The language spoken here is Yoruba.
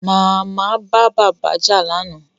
Màmá bá bàbá jà lánàá